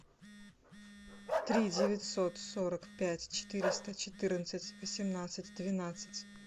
три девятьсот сорок пять четыреста четырнадцать восемнадцать двенадцать